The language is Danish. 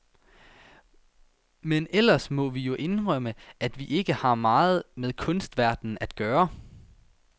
Men ellers må vi jo indrømme, at vi ikke har meget med kunstverdenen at gøre.